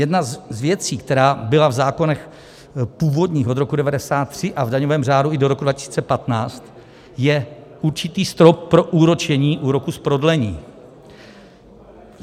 Jedna z věcí, která byla v zákonech původní od roku 1993 a v daňovém řádu i do roku 2015, je určitý strop pro úročení úroku z prodlení.